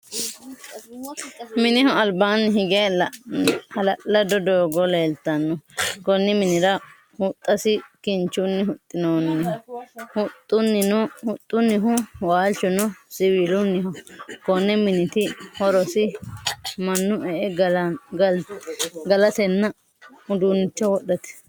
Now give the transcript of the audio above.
Mineho albaanni hige ha'lalado doogo leeltano. Konni minnira huxasi kinchunni huxinoonniho. Huxunnihu waalchuno siwiilunniho. Konni minniti horosi Manu e'e galatenna uduunnicho wodhate.